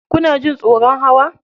Kuna jin tsoron hawa?